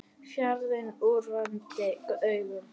Fjarri úrvinda augum.